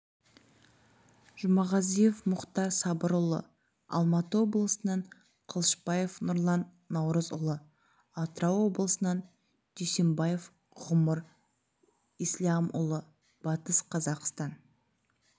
жұмағазиев мұхтар сабырұлы алматы облысынан қылышбаев нұрлан наурызұлы атырау облысынан дүйсембаев ғұмар ислямұлы батыс қазақстан